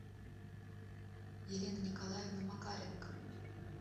елена николаевна макаренко